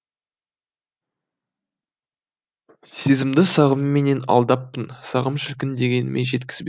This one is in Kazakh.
сезімімді сағымменен алдаппын сағым шіркін дегеніме жеткізбе